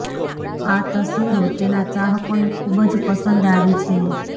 આ તસ્વીરો તેના ચાહકોને ખુબ જ પસંદ આવી છે